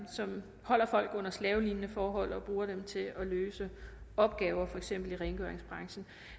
som holder folk under slavelignende forhold og bruger dem til at løse opgaver i for eksempel rengøringsbranchen